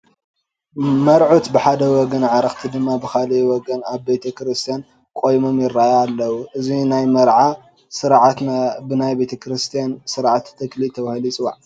መርዑት ብሓደ ወገን ኣዕርኽቲ ድማ ብኻልእ ወገን ኣብ ቤተ ክርስቲያን ቆይሞም ይርአዩ ኣለዉ፡፡ እዚ ናይ መርዓ ስርዓት ብናይ ቤተ ክርስቲያን ስርዓተ ተክሊል ተባሂሉ ይፅዋዕ፡፡